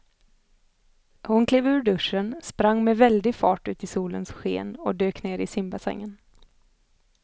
Hon klev ur duschen, sprang med väldig fart ut i solens sken och dök ner i simbassängen.